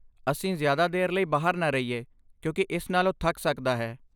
ਅਸੀਂ ਜ਼ਿਆਦਾ ਦੇਰ ਲਈ ਬਾਹਰ ਨਾ ਰਹੀਏ ਕਿਉਂਕਿ ਇਸ ਨਾਲ ਉਹ ਥੱਕ ਸਕਦਾ ਹੈ।